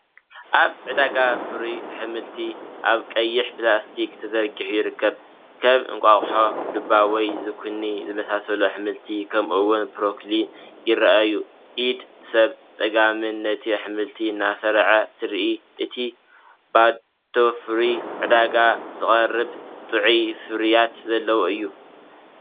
ኣብ ዕዳጋ ፍሩይ ኣሕምልቲ ኣብ ቀይሕ ፕላስቲክ ተዘርጊሑ ይርከብ። ከም እንቋቑሖ፡ ዱባ ወይ ዙኪኒ ዝኣመሰሉ ኣሕምልቲ፡ ከምኡ’ውን ብሮኮሊ ይረኣዩ። ኢድ ሰብ ብጸጋም፡ ነቲ ኣሕምልቲ እናሰርዐት ትርአ። እቲ ቦታ ፍሩይ፣ ንዕዳጋ ዝቐርብ፣ ጥዑይ ፍርያት ዘለዎ እዩ፡፡